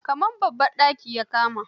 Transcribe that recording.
Kamar babban daki ya kama.